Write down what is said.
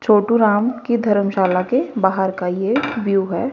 छोटू राम की धर्मशाला के बाहर का ये व्यू है।